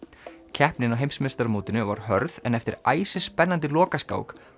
keppnin á heimsmeistaramótinu var hörð en eftir æsispennandi lokaskák